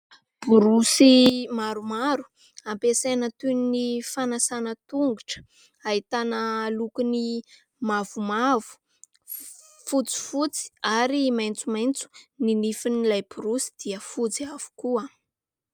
Borosy maromaro ampiasaina toy ny fanasana tongotra. Ahitana lokony mavomavo, fotsifotsy ary maintsomaintso. Ny nifin'ilay borosy dia fotsy avokoa.